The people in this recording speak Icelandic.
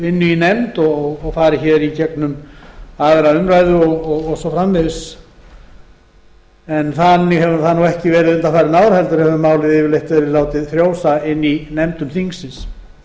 inni í nefnd og fari hér í gegnum aðra umræðu og svo framvegis þannig hefur það nú ekki verið undanfarin ár heldur hefur málið yfirleitt verið látið frjósa inni í nefndum þingsins